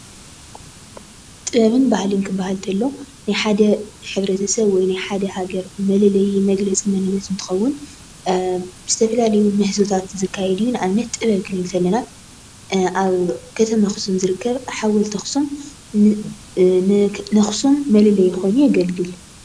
ጥበብን ባህልን ክበሃል እንተሎ ናይ ሓደ ሕብረተሰብ ወይ ድማ ናይ ሓደ ሃገር መለለዪ መግለፂ መንንነት እንትኸውን ብዝተፈላለዩ ምህዞታት ዝካየድ እዩ፡፡ ንኣብነት ጥበብ እንትንብ ከለና ኣብ ከተማ ኣኽሱም ዝርከብ ሓወልቲ ኣኽሱም ን ከተማ ኣኽሱም መለለዪ ኮይኑ የገልግል፡፡